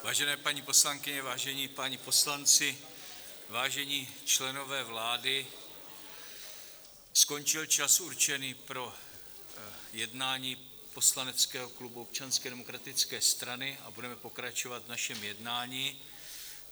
Vážené paní poslankyně, vážení páni poslanci, vážení členové vlády, skončil čas určený pro jednání poslaneckého klubu Občanské demokratické strany a budeme pokračovat v našem jednání.